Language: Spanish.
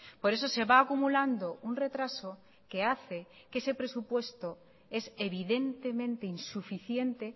por eso se va acumulando un retraso que hace que ese presupuesto es evidentemente insuficiente